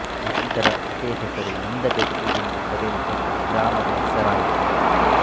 ನಂತರ ಅದೇ ಹೆಸರು ಇಂದಬೆಟ್ಟು ಎಂದು ಕರೆಯಲ್ಪಟ್ಟು ಗ್ರಾಮದ ಹೆಸರಾಯಿತು